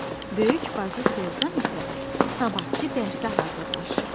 Böyük bacı Selcan isə sabahkı dərsə hazırlaşır.